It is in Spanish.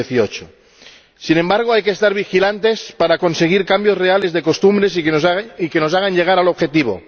2018. Sin embargo, hay que estar vigilantes para conseguir cambios reales de costumbres que nos hagan llegar al objetivo.